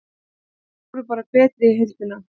Þær voru bara betri í heildina.